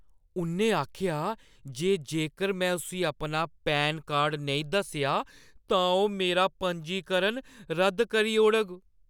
उʼन्नै आखेआ जे जेकर में उस्सी अपना पैन कार्ड नेईं दस्सेआ, तां ओह् मेरा पंजीकरण रद्द करी ओड़ग।